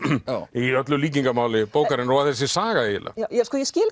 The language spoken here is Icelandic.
í öllu líkingamáli bókarinnar og þessi saga eiginlega ég skil